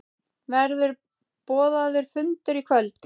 Verður boðaður fundur í kvöld?